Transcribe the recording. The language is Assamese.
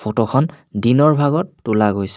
ফটো খন দিনৰ ভাগত তোলা গৈছে।